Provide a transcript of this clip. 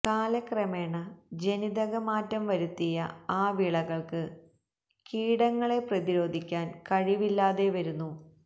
കാലക്രമേണ ജനിതക മാറ്റം വരുത്തിയ ആ വിളകള്ക്ക് കീടങ്ങളെ പ്രധിരോധിക്കാന് കഴിവില്ലാതെ വരുന്നു